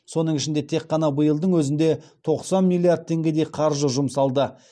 соның ішінде тек қана биылдың өзінде тоқсан миллиард теңгедей қаржы жұмсалды